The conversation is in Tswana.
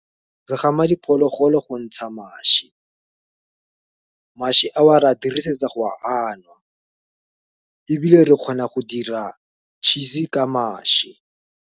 Re gama diphologolo go ntsha mašwi, mašwi a wa ra dirisetsa go a nwa, ebile re kgona go dira cheese ka mašwi.